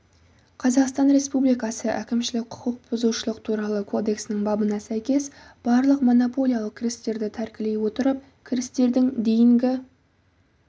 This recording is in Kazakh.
қазақстан республикасы әкімшілік құқық бұзушылық туралы кодексінің бабына сәйкес барлық монополиялық кірістерді тәркілей отырып кірістердің дейінгі